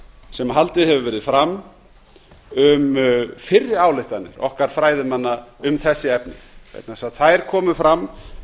sem haldið hefur verið fram um fyrri ályktanir okkar fræðimanna um þessi efni vegna þess að þær komu fram